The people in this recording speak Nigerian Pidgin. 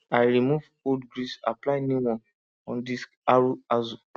i remove old grease apply new one on disc harrow axle